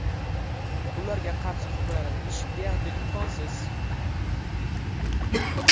Ularga qarshi himoyalanish deyarli imkonsiz.